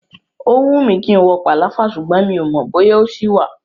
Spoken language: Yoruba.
Ó wùn mí kí n wo pàláfà ṣùgbọ́n mi ò mọ̀ bóyá ó ṣì wà.